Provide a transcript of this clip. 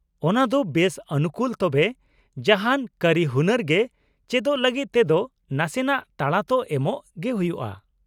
ᱚᱱᱟ ᱫᱚ ᱵᱮᱥ ᱚᱱᱩᱠᱩᱞ ᱛᱚᱵᱮ ᱡᱟᱦᱟᱱ ᱠᱟᱹᱨᱤᱦᱩᱱᱟᱹᱨ ᱜᱮ ᱪᱮᱫᱚᱜ ᱞᱟᱹᱜᱤᱫ ᱛᱮᱫᱚ ᱱᱟᱥᱮᱱᱟᱜ ᱛᱟᱲᱟ ᱛᱚ ᱮᱢ ᱜᱮ ᱦᱩᱭᱩᱜᱼᱟ ᱾